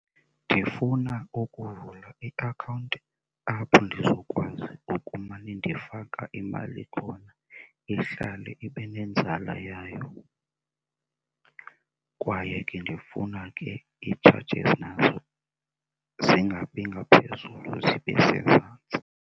Ndifuna ukuvula iakhawunti apho ndizokwazi ukumane ndifaka imali khona ihlale ibe nenzala yayo kwaye ke ndifuna ke ii-charges nazo zingabi ngaphezulu zibe sezantsi.